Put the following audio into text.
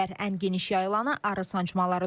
Ən geniş yayılanı arı sancmalarıdır.